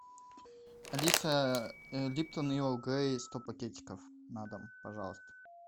алиса липтом ерл грей сто пакетиков на дом пожалуйста